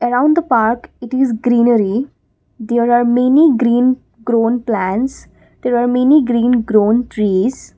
around the park it is greenery there are many green grown plants there are many green grown trees.